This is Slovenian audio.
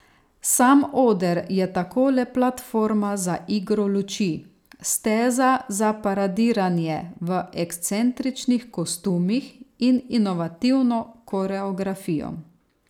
Sam oder je tako le platforma za igro luči, steza za paradiranje v ekscentričnih kostumih in inovativno koreografijo.